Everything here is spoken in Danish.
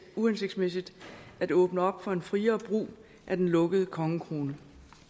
uhensigtsmæssigt at åbne op for en friere brug af den lukkede kongekrone